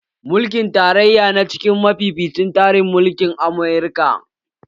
Mulkin tarayya na cikin mafificin tsarin mulkin Amurka